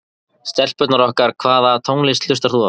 Stelpurnar okkar Hvaða tónlist hlustar þú á?